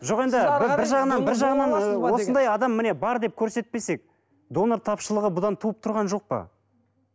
жоқ енді бір жағынан бір жағынан ы осындай адам міне бар деп көрсетпесек донор тапшылығы бұдан туып тұрған жоқ па